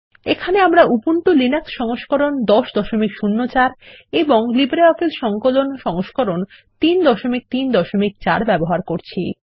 এখানে আমরা Ubuntu Linux সংস্করণ 1004 এবং লিব্রিঅফিস সংকলন সংস্করণ 334 ব্যবহার করছি